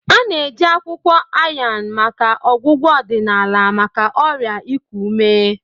A na-eji akwukwo Ayan maka ọgwụgwọ odinaala maka ọrịa iku ume.